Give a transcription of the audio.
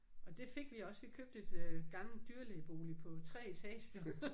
Og det fik vi også vi købte et øh gammelt dyrlægebolig på 3 etager